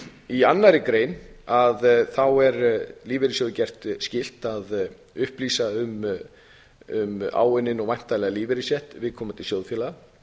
í annarri grein er lífeyrissjóði gert skylt að upplýsa um áunninn og væntanlegan lífeyrisrétt viðkomandi sjóðfélaga